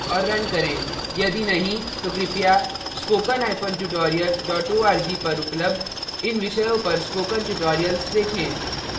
यदि नहीं तो कृपया spokentutorial org पर उपलब्ध इन विषयों पर spoken tutorial देखें